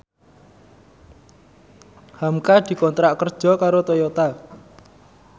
hamka dikontrak kerja karo Toyota